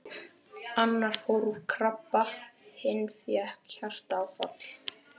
Annar fór úr krabba, hinn fékk hjartaáfall.